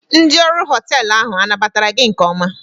Ndị ọrụ họteelụ ahụ anabatara gị nke ọma?